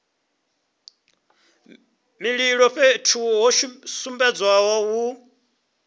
mililo fhethu ho sumbedzwaho hu